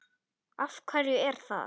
Magnús: Af hverju er það?